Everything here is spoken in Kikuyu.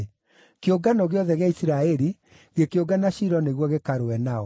kĩungano gĩothe gĩa Isiraeli gĩkĩũngana Shilo nĩguo gĩkarũe nao.